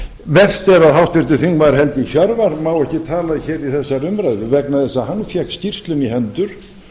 að háttvirtur þingmaður helgi hjörvar má ekki tala hér í þessari umræðu vegna þess að hann fékk skýrsluna í hendur